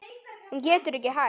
Hún getur ekki hætt.